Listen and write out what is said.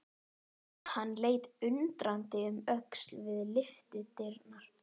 Hann leit undrandi um öxl við lyftudyrnar.